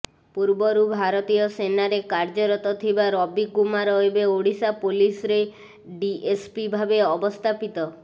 ପୂର୍ବରୁ ଭାରତୀୟ ସେନାରେ କାର୍ୟ୍ୟରତ ଥିବା ରବିକୁମାର ଏବେ ଓଡ଼ିଶା ପୁଲିସରେ ଡିଏସ୍ପି ଭାବେ ଅବସ୍ଥାପିତ